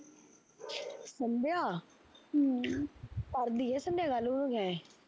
ਸੰਦਿਆ ਹਮ ਕਰਦੀ ਐ ਸੰਦਿਆ ਗੱਲ ਉਹਨੂੰ ਕਿਆ ਐ